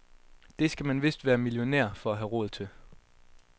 Det skal man vist være millionær for at have råd til.